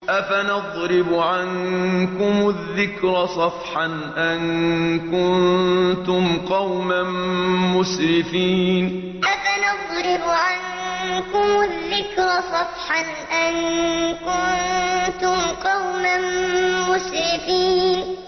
أَفَنَضْرِبُ عَنكُمُ الذِّكْرَ صَفْحًا أَن كُنتُمْ قَوْمًا مُّسْرِفِينَ أَفَنَضْرِبُ عَنكُمُ الذِّكْرَ صَفْحًا أَن كُنتُمْ قَوْمًا مُّسْرِفِينَ